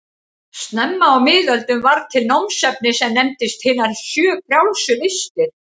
Snemma á miðöldum varð til námsefni sem nefndist hinar sjö frjálsu listir.